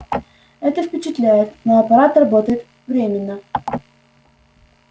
это впечатляет но аппарат работает временно